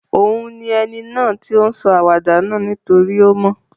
Òun ni eni náà to n sọ àwàdà náà nítorí o mo